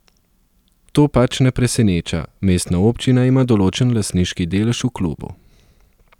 To pač ne preseneča, mestna občina ima določen lastniški delež v klubu.